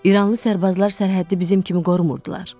İranlı sərbazlar sərhəddi bizim kimi qorumurdular.